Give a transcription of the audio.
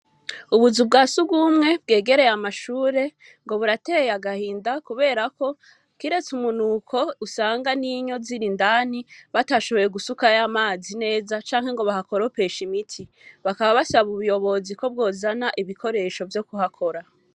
Ubuzu bwa sugumwe bwegereye amashure ngo burateye agahinda kubera ko kireste umunuko usanga ninyo ziri indani batashoboye gusukayo amazi neza canke bahakoropeshe imiti, bakaba basaba ubuyobozi ko bwozana ibikoresho vyo kuhakora.